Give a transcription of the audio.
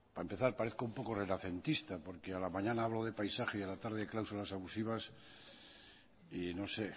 para empezar parezco un poco renacentista porque a la mañana hablo de paisaje y a la tarde de cláusulas abusivas y no sé